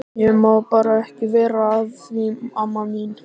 Ég má bara ekki vera að því amma mín.